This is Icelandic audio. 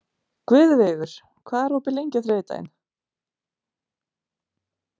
Guðveigur, hvað er opið lengi á þriðjudaginn?